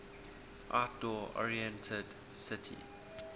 outdoor oriented city